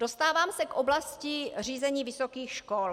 Dostávám se k oblasti řízení vysokých škol.